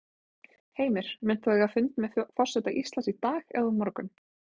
Heimir: Munt þú eiga fund með forseta Íslands í dag eða á morgun?